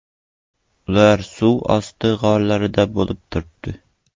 Ular suv osti g‘orida bo‘lib turibdi.